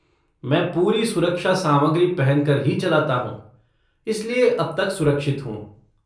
मैं पूरी सुरक्षा सामग्री पहन कर ही चलाता हूँ, इसलिए अब तक सुरक्षित हूँ।